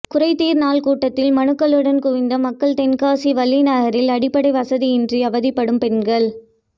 குறைதீர் நாள் கூட்டத்தில் மனுக்களுடன் குவிந்த மக்கள் தென்காசி வள்ளிநகரில் அடிப்படை வசதியின்றி அவதிப்படும் பெண்கள்